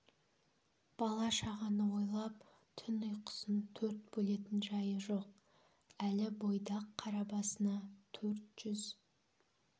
бала-шағаны ойлап түн ұйқысын төрт бөлетін жайы жоқ әлі бойдақ қара басына төрт жүз